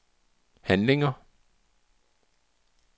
handlinger